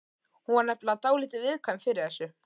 Hún var nefnilega dálítið viðkvæm fyrir þessu.